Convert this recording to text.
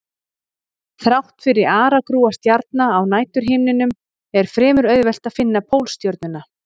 Þrátt fyrir aragrúa stjarna á næturhimninum er fremur auðvelt að finna Pólstjörnuna.